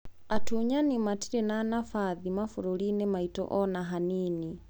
Atunyani matire na nabathi maburũriini maitũ ona hanini.